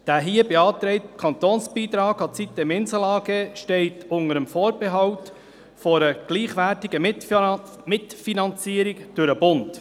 Der hier beantragte Kantonsbeitrag für die sitem-Insel AG steht unter dem Vorbehalt einer gleichwertigen Mitfinanzierung durch den Bund.